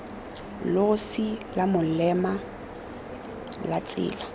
losi la molema la tsela